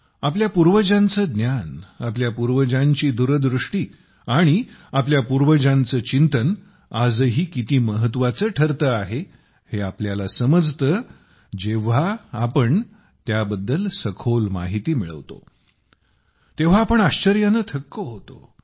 आपल्या पूर्वजांचे ज्ञान आपल्या पूर्वजांची दूरदृष्टी आणि आपल्या पूर्वजांचे चिंतन आजही किती महत्त्वाचे ठरते आहे हे आपल्याला समजते जेव्हा आपण त्याबद्दल सखोल माहिती मिळवतो तेव्हा आपण आश्चर्याने थक्क होतो